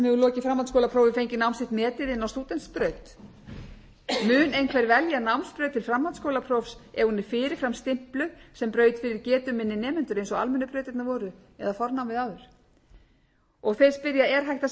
sem hefur lokið framhaldsskólaprófi fengið nám sitt metið inn á stúdentsbraut mun einhver velja námsbraut til framhaldsskólaprófs ef hún er fyrirfram stimpluð sem braut fyrir getuminni nemendur eins og almennu brautirnar voru eða fornámið áður og þeir spyrja er hægt að setja takmörk fyrir því hve mörgum einingum